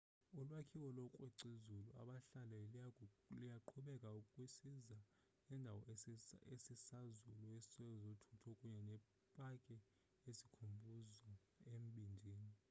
ulwakhiwo lookrwec'izulu abahlanu luyaqhubeka kwisiza indawo esisazulu sezothutho kunye nepaki yesikhumbuzo embindini